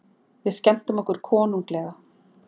Við skemmtum okkur konunglega.